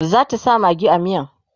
zata sa maggi a miyan?